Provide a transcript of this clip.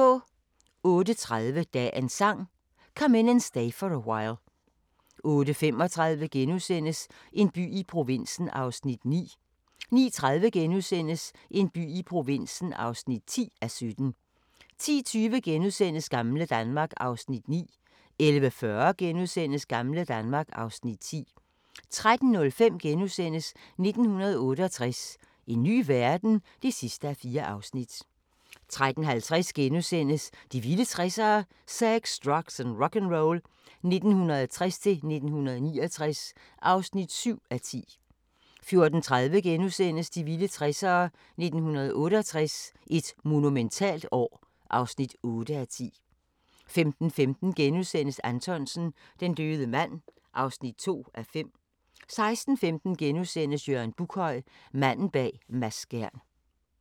08:30: Dagens Sang: Come In And Stay For A While 08:35: En by i provinsen (9:17)* 09:30: En by i provinsen (10:17)* 10:20: Gamle Danmark (Afs. 9)* 11:40: Gamle Danmark (Afs. 10)* 13:05: 1968 – en ny verden? (4:4)* 13:50: De vilde 60'ere: Sex, drugs & rock'n'roll 1960-69 (7:10)* 14:30: De vilde 60'ere: 1968 – et monumentalt år (8:10)* 15:15: Anthonsen - Den døde mand (2:5)* 16:15: Jørgen Buckhøj – Manden bag Mads Skjern *